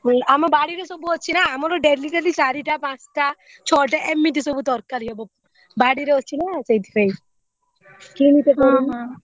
ଆମ ବାଡିରେ ସବୁ ଅଛି ନା ଆମର daily daily ଚାରିଟା ପାଞ୍ଚଟା ଛଟା ଏମିତି ସବୁ ତରକାରୀ ହବ ବାଡିରେ ଅଛି ନା ସେଇଥିପାଇଁ କିଣିତେ ପଡ଼ୁନି।